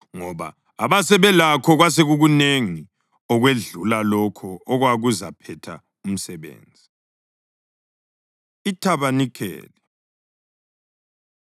ngoba abasebelakho kwasekukunengi okwedlula lokho okwakuzaphetha umsebenzi. IThabanikeli